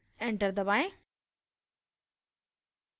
enter दबाएं